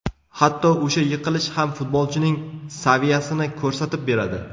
Hatto o‘sha yiqilish ham futbolchining saviyasini ko‘rsatib beradi.